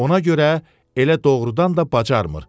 Ona görə elə doğrudan da bacarmır.